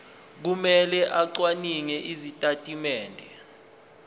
kumele acwaninge izitatimende